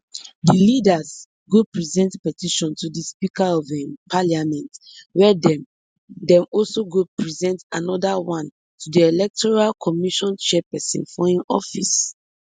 di leaders go present petition to di speaker of um parliament wia dem dem also go present anoda one to di electoral commission chairperson for im office